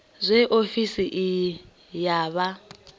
zwe ofisi iyi ya vha